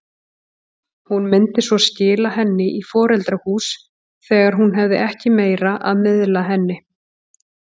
Hún myndi svo skila henni í foreldrahús þegar hún hefði ekki meira að miðla henni.